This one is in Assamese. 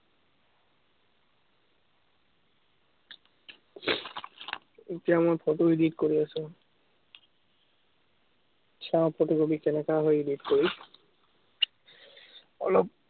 এতিয়া মই photo edit কৰি আছো। চাওঁ photo-copy কেনেকা হয়, edit কৰি। অলপ